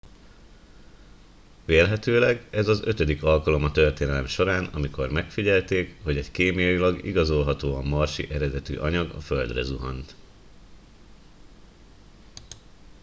vélhetőleg ez az ötödik alkalom a történelem során amikor megfigyelték hogy egy kémiailag igazolhatóan marsi eredetű anyag a földre zuhant